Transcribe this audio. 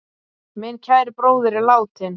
Minn kæri bróðir er látinn.